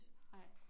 Nej